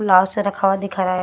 Blouse रखा हुआ दिख रहा है।